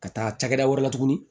Ka taa cakɛda wɛrɛ la tuguni